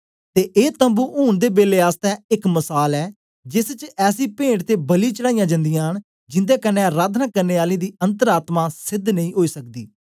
ते ए तम्बू ऊन दे बेलै आसतै एक मसाल ऐ जेस च ऐसी पेंट ते बलि चढ़ाईयां जंदियां न जिन्दे कन्ने अराधना करने आलें दी अन्तर आत्मा सेध नेई ओई सकदी